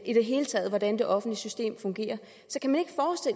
i det hele taget hvordan det offentlige system fungerer